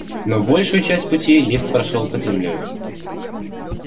но большую часть пути лифт прошёл под землёй